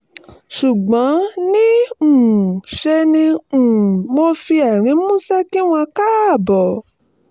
ṣùgbọ́n ní um í ṣe ni um mo fi ẹ̀rín músẹ́ kí wọn káàbọ̀